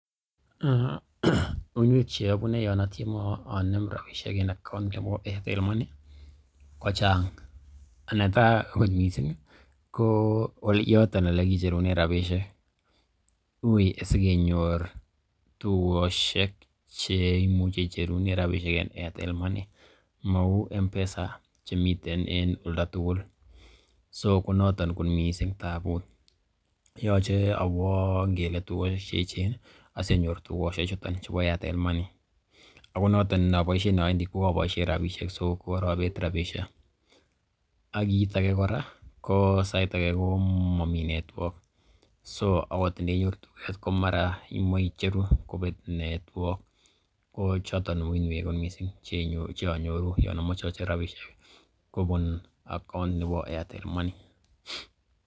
Uiynwek che abune yon atieme ocher rabishek en account nebo Airtel Money kochang', netai kot mising ko yoton ole kicherunen rabisiek uiy asikenyor tugoshek che imuche icherunen rabishek en AirtEL Money, mou M-Pesa chemiten en oldo tugul. So konoton kot mising tabut, yoche awo ngele tugosiek che eechen asionyor tugosiek chuton chebo Airtel Money, ago noton inoboisien awendi ko aboisien rabishek so ko korobet rabishek. Ak kit age kora ko sait age komomi network so agot ndenyoru tuget imoe icheru kobet network ko choton uiynwek mising che onyoru yon amoche ocher rabishek kobun account nebo Airtel Money.